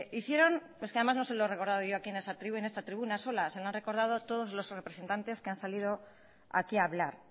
hicieron es que además no se lo he recordado yo aquí en esta tribuna sola se lo han recordado todos los representantes que han salido aquí a hablar